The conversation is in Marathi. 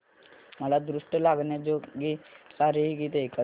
मला दृष्ट लागण्याजोगे सारे हे गीत ऐकायचे आहे